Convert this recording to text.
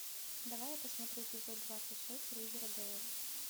давай я посмотрю эпизод двадцать шесть ривердейл